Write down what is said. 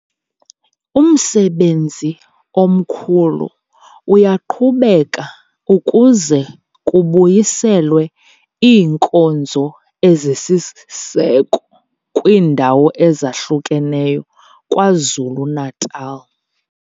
Umsebenzi omkhulu uyaqhubeka ukuze kubuyiselwe iinkonzo ezisisiseko kwiindawo ezahlukeneyo KwaZulu-Natal.